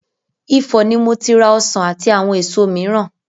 Ifọ̀ ni mo ti ra ọsàn àti àwọn èso mìíràn.